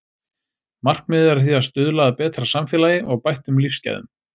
Markmiðið er því að stuðla að betra samfélagi og bættum lífsgæðum.